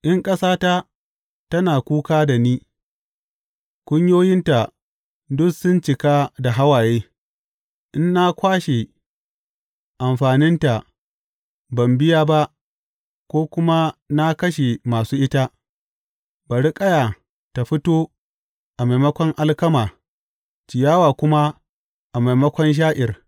In ƙasata tana kuka da ni kunyoyinta duk sun cika da hawaye, in na kwashe amfaninta ban biya ba ko kuma na kashe masu ita, bari ƙaya ta fito a maimakon alkama ciyawa kuma a maimakon sha’ir.